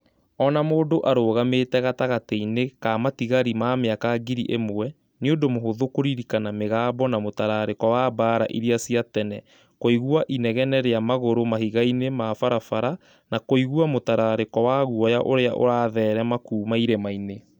O na mũndũ arũgamĩte gatagatĩ-inĩ ka matigari ma mĩaka ngiri ĩmwe, nĩ ũndũ mũhũthũ kũririkana mĩgambo na mũtararĩko wa mbaara iria cia tene, kũigua inegene rĩa magũrũ mahiga-inĩ ma barabara, na kũigua mũtararĩko wa guoya ũrĩa ũratherema kuuma irima-inĩ